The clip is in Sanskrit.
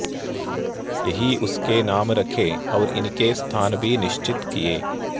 यही उसके नाम रखे और इनके स्थान भी निश्र्चित किये